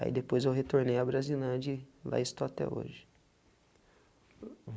Aí depois eu retornei a Brasilândia e lá estou até hoje.